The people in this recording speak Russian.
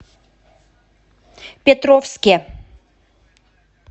петровске